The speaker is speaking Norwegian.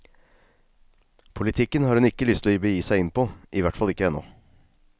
Politikken har hun ikke lyst å begi seg inn på, i hvert fall ikke ennå.